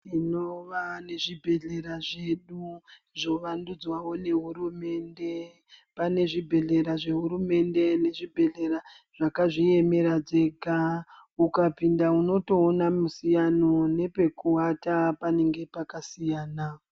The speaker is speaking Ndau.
Tinova nezvibhehlera zvedu zvovandudzwawo nehurumende. Pane zvibhhehlera zvehurumende nezvibhehlera zvakazviemera dzega, ukapinda unotoona musiyano nepekuwata panenge pakasiyana.